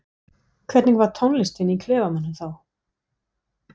Hvernig var tónlistin í klefanum þá?